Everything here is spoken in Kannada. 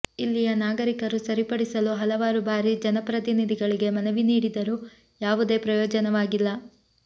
ಇಲ್ಲಿಯ ನಾಗರಿಕರು ಸರಿಪಡಿಸಲು ಹಲಾವಾರು ಭಾರಿ ಜನಪ್ರತಿನಿಧಿಗಳಿಗೆ ಮನವಿ ನೀಡಿದರು ಯಾವುದೇ ಪ್ರಯೋಜನವಾಗಿಲ್ಲ